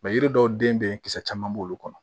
yiri dɔw den be yen kisɛ caman b'olu kɔnɔ